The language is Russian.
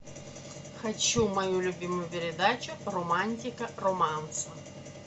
хочу мою любимую передачу романтика романса